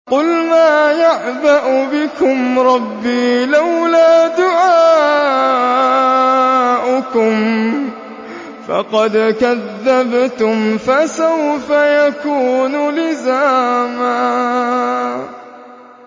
قُلْ مَا يَعْبَأُ بِكُمْ رَبِّي لَوْلَا دُعَاؤُكُمْ ۖ فَقَدْ كَذَّبْتُمْ فَسَوْفَ يَكُونُ لِزَامًا